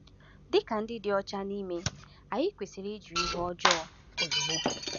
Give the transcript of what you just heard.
Dị ka ndị dị ọcha n’ime, anyị kwesịrị ịjụ ihe ọjọọ ozugbo.